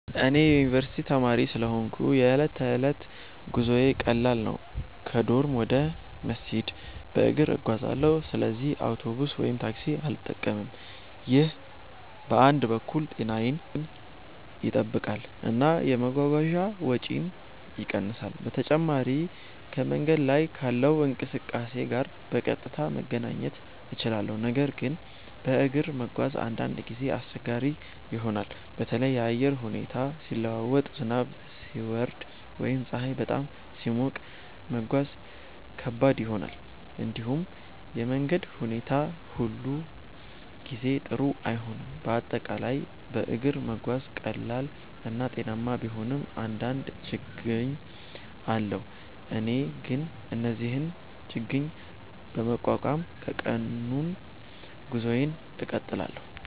እኔ የዩኒቨርስቲ ተማሪ ስለሆንሁ የዕለት ተዕለት ጉዞዬ ቀላል ነው። ከዶርም ወደ መስጂድ በእግሬ እጓዛለሁ፣ ስለዚህ አውቶቡስ ወይም ታክሲ አልጠቀምም። ይህ በአንድ በኩል ጤናዬን ይጠብቃል እና የመጓጓዣ ወጪን ይቀንሳል። በተጨማሪም ከመንገድ ላይ ካለው እንቅስቃሴ ጋር በቀጥታ መገናኘት እችላለሁ። ነገር ግን በእግር መጓዝ አንዳንድ ጊዜ አስቸጋሪ ይሆናል። በተለይ የአየር ሁኔታ ሲለዋወጥ፣ ዝናብ ሲወርድ ወይም ፀሐይ በጣም ሲሞቅ መጓዝ ከባድ ይሆናል። እንዲሁም የመንገድ ሁኔታ ሁሉ ጊዜ ጥሩ አይሆንም፤ በአጠቃላይ በእግር መጓዝ ቀላል እና ጤናማ ቢሆንም አንዳንድ ችግኝ አለው። እኔ ግን እነዚህን ችግኝ በመቋቋም የቀኑን ጉዞዬን እቀጥላለሁ።